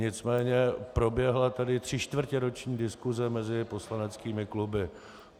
Nicméně proběhla tady třičtvrtěroční diskuse mezi poslaneckými kluby.